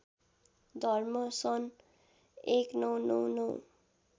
धर्म सन् १९९९